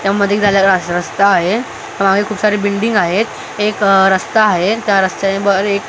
त्यामध्ये गेलेला रस्ता आहे अ खूप सारी बिल्डिंग आहेत एक रस्ता आहे त्या रस्त्याच्या वर एक --